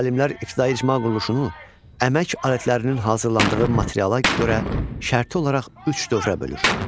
Alimlər ibtidai icma quruluşunu əmək alətlərinin hazırlandığı materiala görə şərti olaraq üç dövrə bölür.